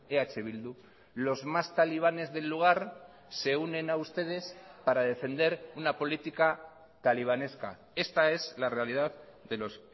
eh bildu los más talibanes del lugar se unen a ustedes para defender una política talibanesca esta es la realidad de los